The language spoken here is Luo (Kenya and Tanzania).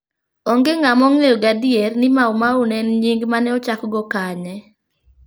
Onge ng'ama ong'eyo gadier ni Maumau ne en nying' ma ne ochakgo kanye.